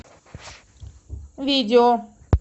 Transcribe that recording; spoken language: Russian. видео